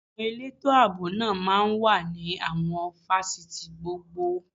Àwọn elétò ààbò náà máa ń wà ní àwọn fásitì gbogbo